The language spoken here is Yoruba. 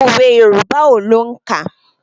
Òwe Yorùbá ò lóǹkà.